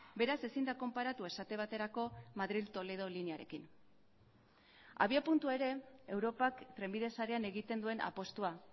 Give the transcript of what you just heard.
beraz ezin da konparatu esate baterako madril toledo linearekin abiapuntua ere europak trenbide sarean egiten duen apustua